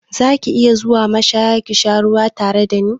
Za ki iya zuwa mashaya ka sha ruwa tare da ni?